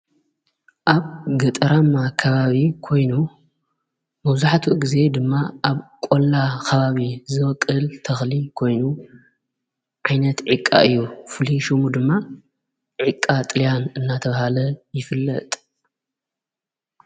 ኣብ ገጠራማ ከባቢ ኮይኑ መብዛሕቲኡ ጊዜ ድማ ኣብ ቈላ ከባቢ ዝወቅል ተኽሊ ኮይኑ ዓይነት ዕቃ እዩ ። ፍሊይ ሹሙ ድማ ዕቃ ጥልያን እናተብሃለ ይፍለጥ።